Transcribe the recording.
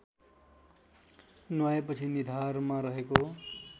नुहाएपछि निधारमा रहेको